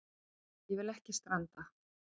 Ég vil ekki stranda.